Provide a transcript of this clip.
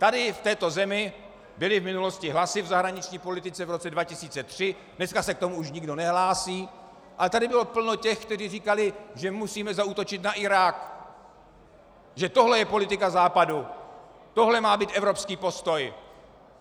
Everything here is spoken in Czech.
Tady v této zemi byly v minulosti hlasy v zahraniční politice, v roce 2003, dneska se k tomu už nikdo nehlásí, ale tady bylo plno těch, kteří říkali, že musíme zaútočit na Irák, že tohle je politika Západu, tohle má být evropský postoj.